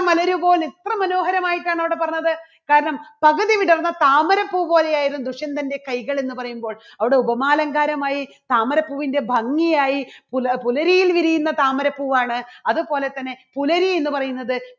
ആയിട്ടാണ് അവിടെ പറഞ്ഞത് കാരണം പകുതി വിടർന്ന താമര പൂ പോലെയായിരുന്നു ദുഷ്യന്തന്റെ കൈകൾ എന്ന് പറയുമ്പോൾ അവിടെ ഉപമാലങ്കാരമായി താമരപ്പൂവിന്റെ ഭംഗിയായി പു~പുലരിയിൽ വിരിയുന്ന താമര പൂവാണ്. അതുപോലെതന്നെ പുലരി എന്ന് പറയുന്നത്